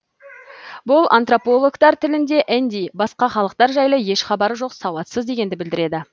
бұл антропологтар тілінде энди басқа халықтар жайлы еш хабары жоқ сауатсыз дегенді білдіреді